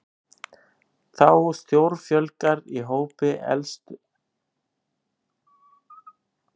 Þá stórfjölgar í hópi elstu borgaranna